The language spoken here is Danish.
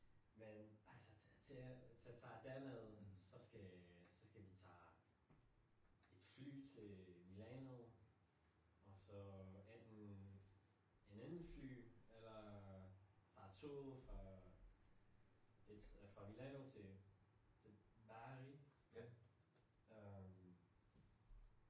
Men altså til at tage til at tager derned så skal så skal vi tage et fly til Milano og så enten en anden fly eller tager toget fra et fra Milano til et til til Bari øh